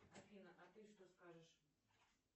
афина а ты что скажешь